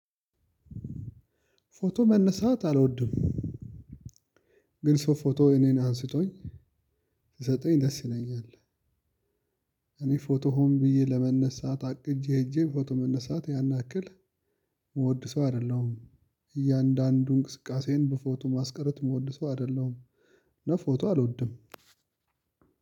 ፎቶ መነሳት አልወድም ግን ሰው ፎቶ እኔን አንስቶኝ ሲሰጠኝ ደስ ይለኛል። እኔ ፎቶ ሆን ብዬ ለመነሳት አቅጄ ሄጄ ፎቶ መነሳት ያን አክል ምወድ ሰው አይደለሁም። እያንዳንዱን እንቅስቃሴን በፎቶ ማስቀረት የምወድ ሰው አይደለሁም። እና ፎቶ አልወድም።